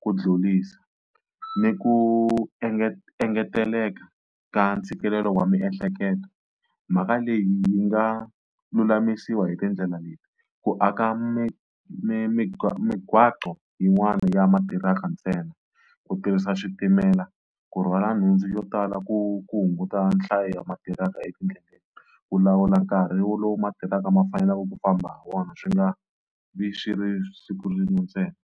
ku dlulisa ni ku engeteleka ka ntshikelelo wa miehleketo mhaka leyi yi nga lulamisiwa hi tindlela leti, ku aka mi migwaqo yin'wana ya matiraka ntsena, ku tirhisa switimela ku rhwala nhundzu yo tala ku ku hunguta nhlayo ma tirhaka etindleleni, ku lawula nkarhi wolowo matiraka ma faneleke ku famba hi wona swi nga vi swi ri siku rin'we ntsena.